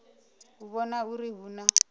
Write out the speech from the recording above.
u vhona uri hu na